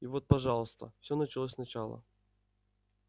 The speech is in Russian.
и вот пожалуйста всё началось сначала